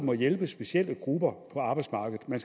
må hjælpe specielle grupper på arbejdsmarkedet men